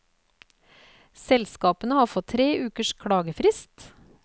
Selskapene har fått tre ukers klagefrist.